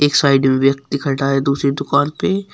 Side में व्यक्ति खड़ा है दूसरी दुकान पे।